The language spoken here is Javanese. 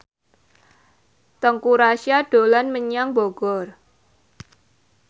Teuku Rassya dolan menyang Bogor